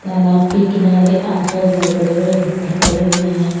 तालाब के किनारे आस पास बहोत बड़े बड़े पत्थर पड़े हुए हैं।